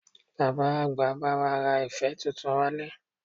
Bàbá àgbà bá wa ra ife tuntun wá ilé